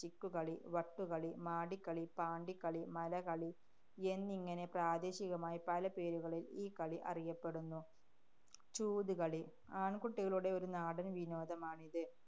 ചിക്കുകളി, വട്ടുകളി, മാടിക്കളി, പാണ്ടികളി, മലകളി എന്നിങ്ങനെ പ്രാദേശികമായി പല പേരുകളില്‍ ഈ കളി അറിയപ്പെടുന്നു. ചൂതുകളി. ആണ്‍കുട്ടികളുടെ ഒരു നാടന്‍ വിനോദമാണിത്.